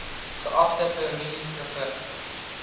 geagte premier mev